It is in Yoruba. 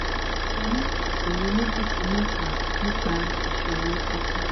mo ni isoro meji si meta nipa isoro oko mi